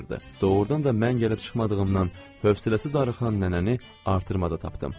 Doğurdan da mən gəlib çıxmadığımdan hövsələsi darıxan nənəni artırmada tapdım.